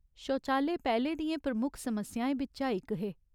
शौचालय पैह्‌ले दियें प्रमुख समस्याएं बिच्चा इक हे।